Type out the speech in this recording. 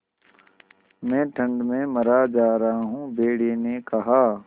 मैं ठंड में मरा जा रहा हूँ भेड़िये ने कहा